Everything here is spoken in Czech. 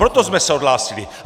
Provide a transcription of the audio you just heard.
Proto jsme se odhlásili!